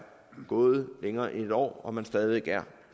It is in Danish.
gået længere end en år og man stadig væk er